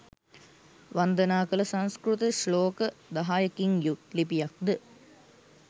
වන්දනා කළ සංස්කෘත ශ්ලෝක දහයකින් යුත් ලිපියක් ද